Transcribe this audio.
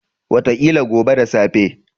Wataƙila gobe da safe.